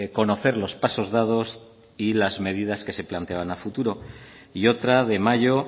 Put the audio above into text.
conocer los pasos dados y las medidas que se planteaban a futuro y otra de mayo